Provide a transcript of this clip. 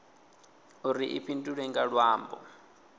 uri i fhindulwe nga luambo